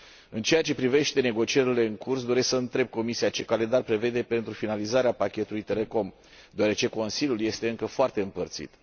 În ceea ce privește negocierile în curs, doresc să întreb Comisia ce calendar prevede pentru finalizarea Pachetului telecom, deoarece Consiliul este încă foarte împărțit.